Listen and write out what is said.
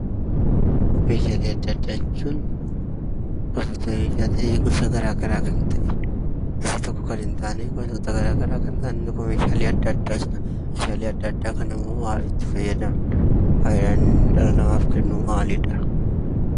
Meeshaalee addaa addaa jechuun gosa meeshaa ta'ee, gosa tokko kan hin taane waantota garaagaraa irraa . Meeshaalee addaa addaa kana immoo maaliif itti fayyadamna? Fayidaan namaaf kennu maalidha?